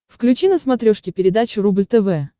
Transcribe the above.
включи на смотрешке передачу рубль тв